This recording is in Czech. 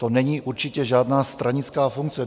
To není určitě žádná stranická funkce.